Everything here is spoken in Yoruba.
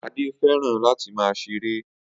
Ade fẹ́ràn láti máa ṣeré